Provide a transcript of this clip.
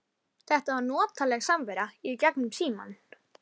Hvað höfðu þau gert af sér í þetta sinn?